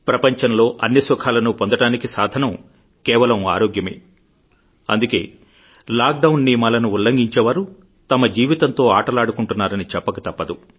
ప్రపంచంలో అన్ని సుఖాలను పొందడానికి సాధనం కేవలం ఆరోగ్యమే అందుకే లాక్ డౌన్ నియమాలను ఉల్లంఘించేవారు తమ జీవితంతో ఆటలాడుకుంటున్నారని చెప్పక తప్పదు